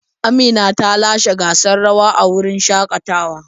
Amina ta lashe gasar rawa a wurin shakatawar.